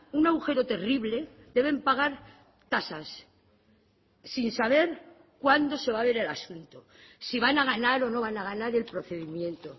un agujero terrible deben pagar tasas sin saber cuándo se va a ver el asunto si van a ganar o no van a ganar el procedimiento